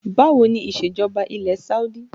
Báwo ni isejọba ilẹ̀ Saudi?